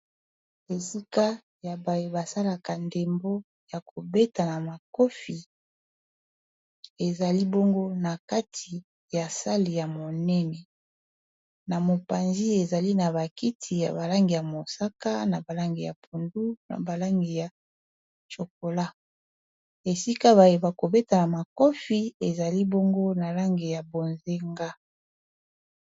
esika ya baye basalaka ndembo ya kobetana makofi ezali bongo na kati ya sali ya monene na mopanzi ezali na bakiti ya balangi ya mosaka na balange ya pundu na balangi ya chokola esika baye bakobetana makofi ezali bongo na lange ya bozenga